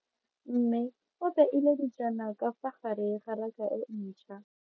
Mme o beile dijana ka fa gare ga raka e ntšha.